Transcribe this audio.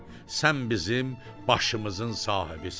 Sən bizim başımızın sahibisən.